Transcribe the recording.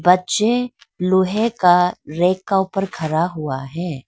बच्चे लोहे के रैक का ऊपर खड़ा हुआ है।